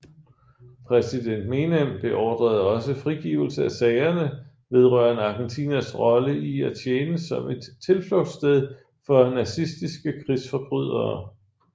Præsident Menem beordrede også frigivelse af sagerne vedrørende Argentinas rolle i at tjene som et tilflugtssted for nazistiske krigsforbrydere